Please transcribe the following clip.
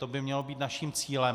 To by mělo být naším cílem.